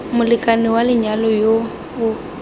molekane wa lenyalo yo o